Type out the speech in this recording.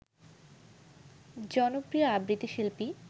জনপ্রিয় আবৃত্তি শিল্পী